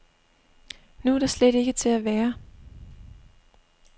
Nu er der slet ikke til at være.